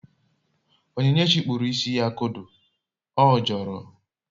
Onyinyechi kpuru isi ya kodo, ọ jọọrọ